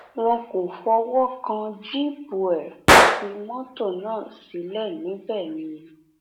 wọn kò fọwọ kan jíìpù ẹ wọn fi mọtò náà sílẹ síbẹ ni